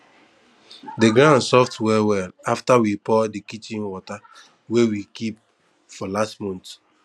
de ground soft well well after we pour de kitchen water wey we keep for last month